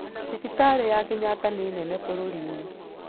Thibitarĩ ya Kenyatta nĩ nene bũrũri-inĩ.